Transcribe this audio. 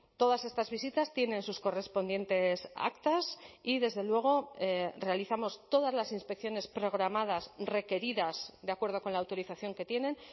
todas estas visitas tienen sus correspondientes actas y desde luego realizamos todas las inspecciones programadas requeridas de acuerdo con la autorización que tienen